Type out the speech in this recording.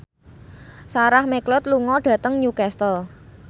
Sarah McLeod lunga dhateng Newcastle